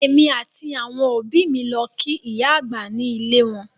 Èmi àti àwọn òbí mi lọ kí ìyá àgbà ní ilé e wọn